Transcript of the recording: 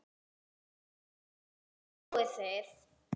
En þarna sjáið þið!